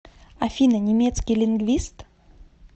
афина немецкий лингвист